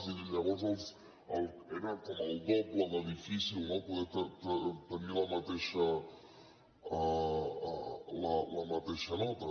i llavors era com el doble de difícil no poder tenir la mateixa nota